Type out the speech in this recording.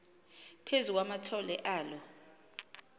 phezu kwamathole alo